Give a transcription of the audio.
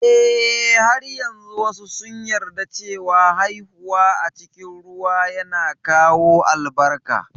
Eh, har yanzu wasu sun yarda cewa haihuwa a cikin ruwa yana kawo albarka